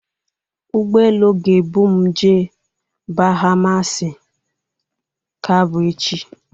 Ụgbọelu ga-ebum jee Bahamasi ka bụ echi.